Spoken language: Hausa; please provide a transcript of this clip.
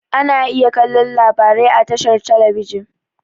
Ana iya kallo labarai a tashar talabijin.